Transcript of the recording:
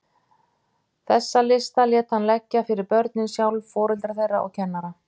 Þessa lista lét hann leggja fyrir börnin sjálf, foreldra þeirra og kennara.